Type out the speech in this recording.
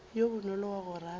yo bonolo wa go rata